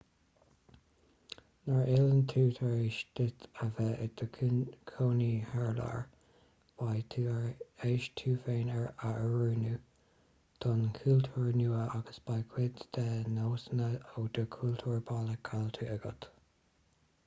nuair a fhilleann tú tar éis duit a bheith i do chónaí thar lear beidh tú tar éis tú féin a oiriúnú don chultúr nua agus beidh cuid de do nósanna ó do chultúr baile caillte agat